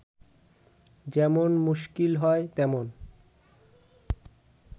যেমন মুশকিল হয়, তেমন